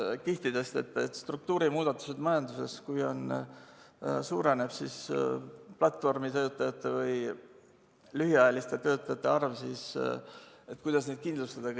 Majanduses on struktuurimuudatused ja kui suureneb platvormitöötajate või lühiajaliste töötajate arv, siis kuidas neid kõiki kindlustada.